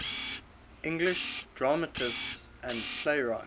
english dramatists and playwrights